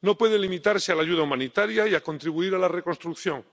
No puede limitarse a la ayuda humanitaria y a contribuir a la reconstrucción.